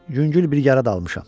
Yüngül bir yara da almışam.